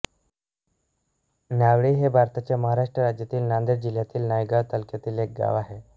नावंडी हे भारताच्या महाराष्ट्र राज्यातील नांदेड जिल्ह्यातील नायगाव तालुक्यातील एक गाव आहे